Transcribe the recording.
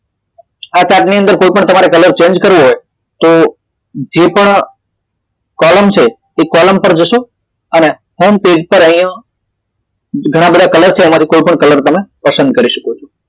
આ chart ની અંદર કોઈ પણ કલર તમારે change કરવો હોય તો જે પણ column છે તે column પર જાશું અને હોમ પેજ પર અહિયાં ઘણા બધા કલર છે એમ કોઈ પણ કલર તમે પસંદ કરી શકો છો